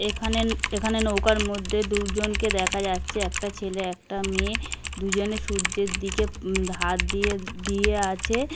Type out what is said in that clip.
এখানে-এ এখানে নৌকার মধ্যে দুজনকে দেখা যাচ্ছে একটা ছেলে একটা মেয়ে দুজনে সূর্যের দিকে উম হাত দিয়ে দিয়ে আছে।